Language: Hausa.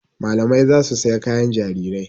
Malamai za su saya kayan jarirai.